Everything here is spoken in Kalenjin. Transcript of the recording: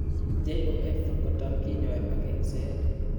JOF kotam kinyoee ak eng'seet